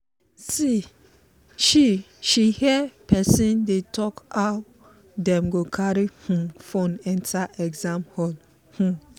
she she hear person dey talk how dem go carry um phone enter exam hall. um